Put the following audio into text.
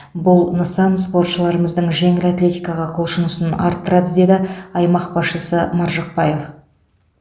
бұл нысан спортшыларымыздың жеңіл атлетикаға құлшынысын арттырады деді аймақ басшысы маржықпаев